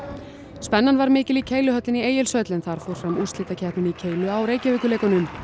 spennan var mikil í Keiluhöllinni í Egilshöll en þar fór fram úrslitakeppnin í keilu á Reykjavíkurleikunum